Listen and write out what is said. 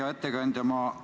Hea ettekandja!